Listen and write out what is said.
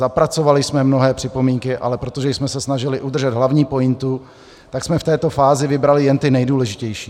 Zapracovali jsme mnohé připomínky, ale protože jsme se snažili udržet hlavní pointu, tak jsme v této fázi vybrali jen ty nejdůležitější.